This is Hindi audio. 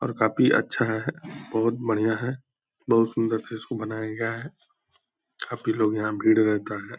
और काफी अच्छा है बहुत बढ़िया है। बहुत सुंदर से इसको बनाया गया है। काफी लोग यहाँ भीड़ रहता है।